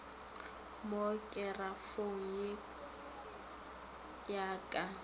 mo kerafong ye ya ka